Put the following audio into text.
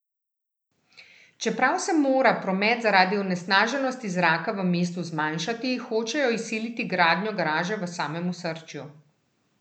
Čeprav se mora promet zaradi onesnaženosti zraka v mestu zmanjšati, hočejo izsiliti gradnjo garaže v samem osrčju.